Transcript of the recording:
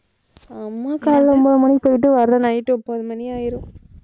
அம்மா காலைல ஒன்பது மணிக்கு போயிட்டு வர night ஒன்பது மணி ஆயிரும்.